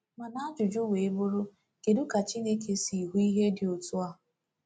Mana ajụjụ wee bụrụ, kedu ka Chineke si hụ ihe dị otu a?